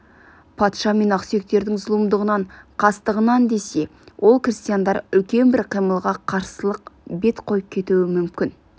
патша мен ақсүйектердің зұлымдығынан қастығынан десе ол крестьяндар үлкен бір қимылға қарсылыққа бет қойып кетуі мүмкін